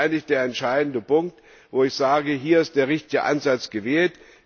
Das ist eigentlich der entscheidende Punkt, an dem ich sage, hier ist der richtige Ansatz gewählt.